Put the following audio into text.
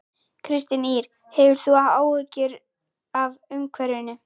Kristín Ýr: Hefur þú áhyggjur af umhverfinu?